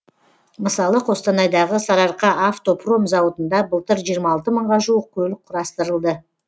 мысалы қостанайдағы сарыарқа автопром зауытында былтыр жиырма алты мыңға жуық көлік құрастырылды